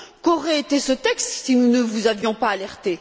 Qu'aurait été ce texte si nous ne vous avions pas alerté?